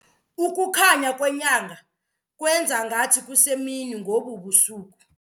Ukukhanya kwenyanga kwenza ngathi kusemini ngobu busuku.